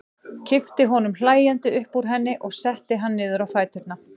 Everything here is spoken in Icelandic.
Kippti honum hlæjandi upp úr henni og setti hann niður á fæturna.